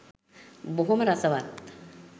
බොහොම රසවත්.